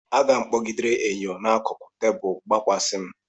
Aga m kpọgidere enyo n'akụkụ tebụl gbakwasa m.